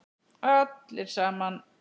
Allir saman.